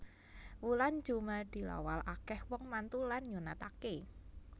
Wulan jumadilawal akeh wong mantu lan nyunatake